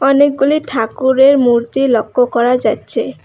অনেকগুলি ঠাকুরের মূর্তি লক্ষ করা যাচ্চে।